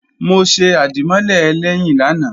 Mo ṣe àdìmọ́lè ẹlẹ́yìn lánàá